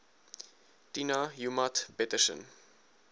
tina joemat pettersson